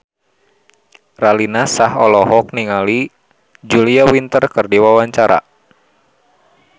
Raline Shah olohok ningali Julia Winter keur diwawancara